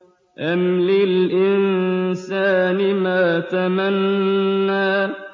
أَمْ لِلْإِنسَانِ مَا تَمَنَّىٰ